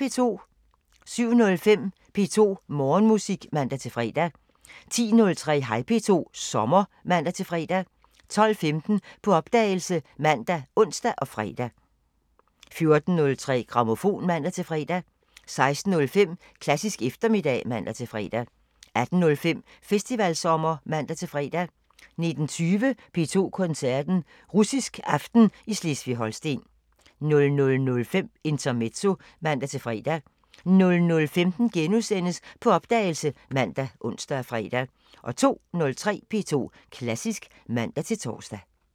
07:05: P2 Morgenmusik (man-fre) 10:03: Hej P2 – sommer (man-fre) 12:15: På opdagelse ( man, ons, fre) 14:03: Grammofon (man-fre) 16:05: Klassisk eftermiddag (man-fre) 18:05: Festivalsommer (man-fre) 19:20: P2 Koncerten – Russisk aften i Slesvig-Holsten 00:05: Intermezzo (man-fre) 00:15: På opdagelse *( man, ons, fre) 02:03: P2 Klassisk (man-tor)